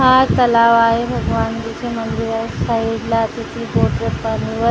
हा तलाव आहे भगवानजीच्या मंदिरावर साईडला तिची पाण्यावर--